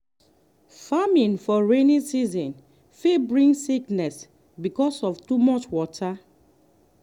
farming for rainy season fit bring sickness because of too much water.